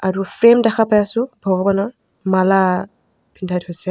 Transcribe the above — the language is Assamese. আৰু ফ্ৰেম দেখা পাই আছোঁ ভগবানৰ মালা পিন্ধাই থৈছে।